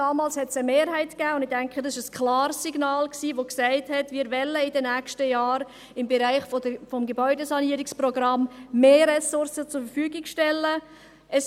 Damals gab es eine Mehrheit, und ich denke, dies war ein klares Signal, welches besagt, dass wir in den nächsten Jahren im Bereich des Gebäudesanierungsprogramms mehr Ressourcen zur Verfügung stellen wollen.